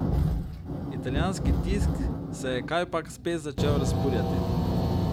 Italijanski tisk se je kajpak spet začel razburjati.